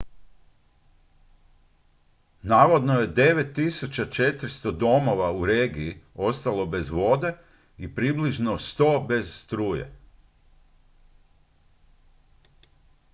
navodno je 9400 domova u regiji ostalo bez vode i približno 100 bez struje